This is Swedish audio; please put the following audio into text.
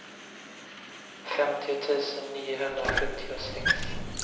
femtio tusen niohundrasjuttiosex